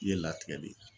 I ye latigɛ de ye